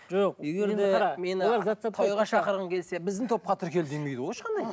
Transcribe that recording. жоқ егер де тойға шақырғың келсе біздің топқа тіркел демейді ғой ешқандай